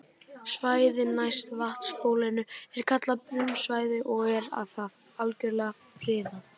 Svæðið næst vatnsbólinu er kallað brunnsvæði og er það algjörlega friðað.